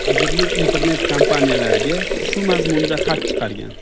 Vazirlik internet-kompaniyalarga shu mazmunda xat chiqargan.